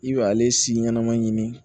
I bɛ ale si ɲɛnama ɲini